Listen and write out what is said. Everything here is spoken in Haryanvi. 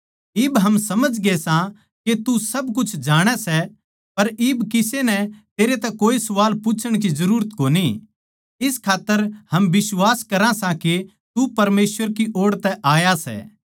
इब हम समझगे सां के तू सब कुछ जाणै सै अर इब किसे नै तेरे तै कोए सवाल पूच्छण जुरत कोनी इस खात्तर हम बिश्वास करा सां के तू परमेसवर की ओड़ तै आया सै